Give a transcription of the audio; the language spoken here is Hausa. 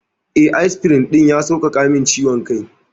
Eh, asfirin ɗin ya sauƙaƙa min ciwon kai.